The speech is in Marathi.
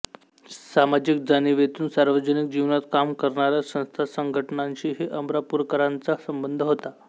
सामाजिक जाणिवेतून सार्वजनिक जीवनात काम करणाऱ्या संस्थासंघटानांशीही अमरापूरकरांचा संबंध होता